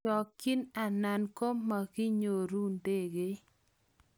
chokchin anan mumakinyoru ndege